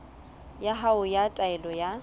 ya hao ya taelo ya